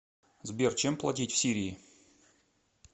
сбер чем платить в сирии